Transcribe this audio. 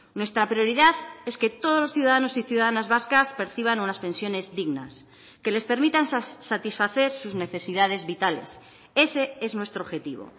nuestra prioridad es que todos los ciudadanos y ciudadanas vascas perciban unas pensiones dignas que les permitan satisfacer sus necesidades vitales ese es nuestro objetivo